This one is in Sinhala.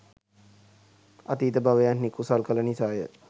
අතීත භවයන්හි කුසල් කළ නිසා ය.